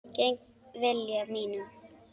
Gegn vilja mínum.